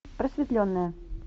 просветленная